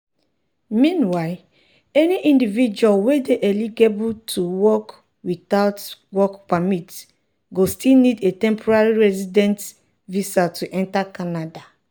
meanwhile any individual wey dey eligible to work witout a work permit go still need a temporary resident visa to enta canada.